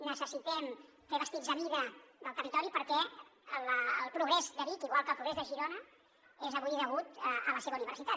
necessitem fer vestits a mida del territori perquè el progrés de vic igual que el progrés de girona és avui degut a la seva universitat